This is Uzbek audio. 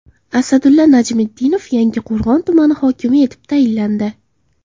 Asadulla Najmiddinov Yangiqo‘rg‘on tumani hokimi etib tayinlandi.